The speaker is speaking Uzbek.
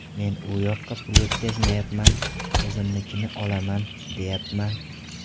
Men u yoqqa pul o‘tkazmayapman, o‘zimnikini olaman, deyapman.